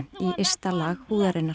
í ysta lag húðarinnar